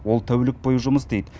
ол тәулік бойы жұмыс істейді